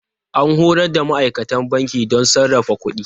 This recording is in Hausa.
An horar da ma'aikatan banki don sarrafa kuɗi.